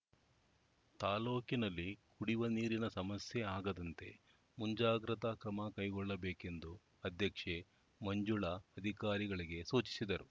ತಾಲೂಕಿನಲ್ಲಿ ಕುಡಿವ ನೀರಿನ ಸಮಸ್ಯೆ ಆಗದಂತೆ ಮುಂಜಾಗ್ರತಾ ಕ್ರಮ ಕೈಗೊಳ್ಳಬೇಕೆಂದು ಅಧ್ಯಕ್ಷೆ ಮಂಜುಳಾ ಅಧಿಕಾರಿಗಳಿಗೆ ಸೂಚಿಸಿದರು